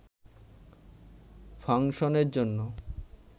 ফাংশনের জন্য